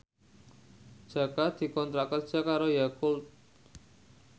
Jaka dikontrak kerja karo Yakult